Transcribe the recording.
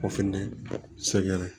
O fɛnɛ sɛgɛn